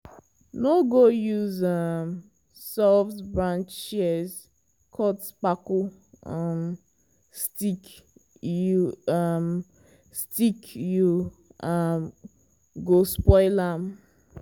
no go use um soft-branch shears cut kpako um stick you um stick you um go spoil am.